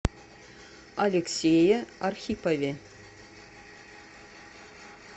алексее архипове